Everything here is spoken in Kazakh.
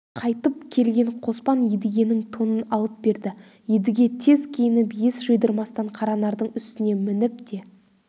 қайтып келген қоспан едігенің тонын алып берді едіге тез киініп ес жидырмастан қаранардың үстіне мініп те